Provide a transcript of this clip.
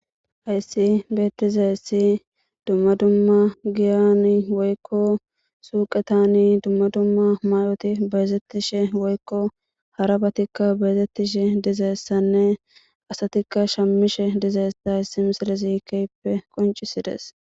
hayssi beetiza hissi dumma dumma giyani woykko suuqetani dumma dumma may7oti beezettishe woykko harabatikka beezettishe dizayssanne asatikka shammishe dizayessa issi misile ziikeyppe qoncisides